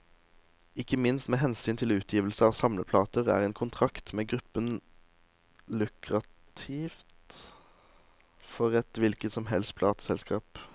Ikke minst med hensyn til utgivelse av samleplater, er en kontrakt med gruppen lukrativt for et hvilket som helst plateselskap.